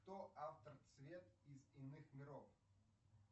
кто автор цвет из иных миров